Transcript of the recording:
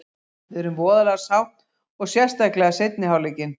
Við erum voðalega sátt og sérstaklega seinni hálfleikinn.